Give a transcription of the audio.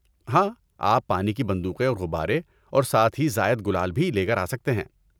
ہاں، آپ پانی کی بندوقیں اور غبارے، اور ساتھ ہی زائد گلال بھی لے کر آسکتے ہیں۔